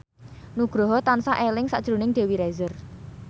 Nugroho tansah eling sakjroning Dewi Rezer